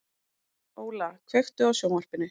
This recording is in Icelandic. Óla, kveiktu á sjónvarpinu.